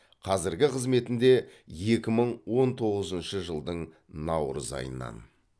қазіргі қызметінде екі мың он тоғызыншы жылдың наурыз айынан